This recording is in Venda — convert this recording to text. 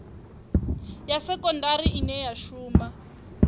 ya sekondari ine ya shuma